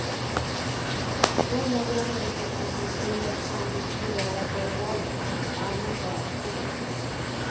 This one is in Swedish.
De väljarundersökningar som tilläts fram till tio dagar före valet anses allmänt vara opålitliga.